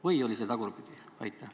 Või oli see tagurpidi?